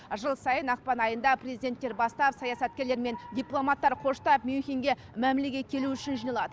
жыл сайын ақпан айында президенттер бастап саясаткерлер мен дипломаттар қоштап мюнхенге мәмілеге келу үшін жиналады